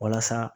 Walasa